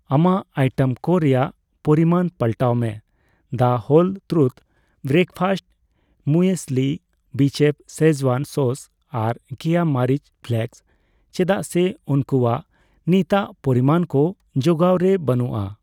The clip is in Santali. ᱟᱢᱟᱜ ᱟᱭᱴᱮᱢ ᱠᱚ ᱨᱮᱭᱟᱜ ᱯᱚᱨᱤᱢᱟᱱ ᱯᱟᱞᱴᱟᱣ ᱢᱮ ᱫᱚ whole truth breakfast muesli, Bechef Schezwan sauce ᱟᱨ ᱠᱮᱭᱟ ᱢᱟᱹᱨᱤᱪ ᱯᱷᱞᱮᱠᱥ ᱪᱮᱫᱟᱜ ᱥᱮ ᱩᱝᱠᱩᱣᱟᱜ ᱱᱤᱛᱟᱜ ᱯᱚᱨᱤᱢᱟᱱ ᱠᱚ ᱡᱚᱦᱟᱣ ᱨᱮ ᱵᱟᱹᱱᱩᱜᱼᱟ ᱾